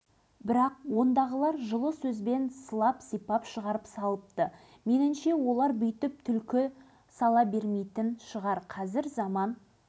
ал қорғаныс министрлігіндегі қолбасшылар біздің білетініміз семей облысы ал павлодар туралы ештеңе естіген емеспіз деп аңқаусыған көрінеді